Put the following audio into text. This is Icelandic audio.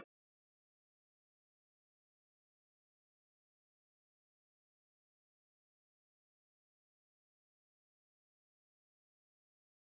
Sunna: Og þá þurfa vitnaleiðslur væntanlega að fara fram allar aftur?